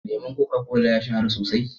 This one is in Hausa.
Leman koka kola ya shahara sosai.